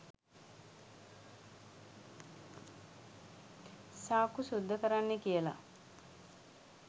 සාක්කු සුද්ධ කරන්නෙ කියලා.